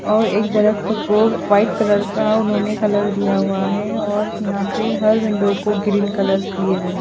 और एक दरख्त को वाइट कलर का उन्होंने कलर दिया हुआ है और यहाँ पे हर विंडो को ग्रीन कलर्स दिए हुए हैं।